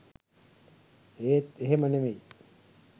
ඒත් එහෙම නෙවෙයි